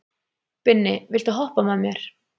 Binni, viltu hoppa með mér?